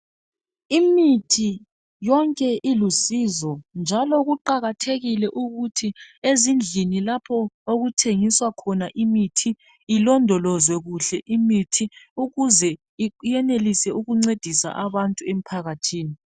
Imithi yonke ilusizo njalo kuqakathekile ukuthi ezindlini lapho okuthengiswa khona imithi ilondolozwe imithi ukuze iyenelise ukuncedisa abantu emphakathini.